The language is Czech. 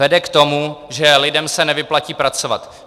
Vede k tomu, že lidem se nevyplatí pracovat.